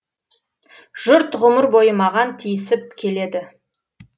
жұрт ғұмыр бойы маған тиісіп келеді